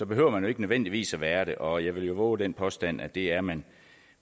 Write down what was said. behøver man ikke nødvendigvis være det og jeg vil vove den påstand at det er man